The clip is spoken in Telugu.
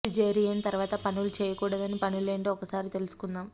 సిజేరి యన్ తర్వాత పనులు చేయకూ డని పనులెంటో ఒక్కసారి తెలుసు కుందాం